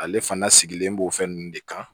Ale fana sigilen b'o fɛn nunnu de kan